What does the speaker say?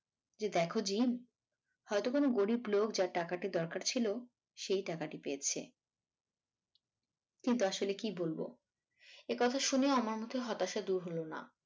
যে দেখ জিম হয়তো কোনো গরীব লোক যার টাকাটি দরকার ছিল সেই টাকাটি পেয়েছে কিন্তু আসলে কী বলবো একথা শুনেও আমার মধ্যে হতাশা দূর হল না